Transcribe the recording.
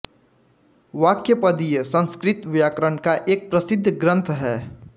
वाक्यपदीय संस्कृत व्याकरण का एक प्रसिद्ध ग्रंथ है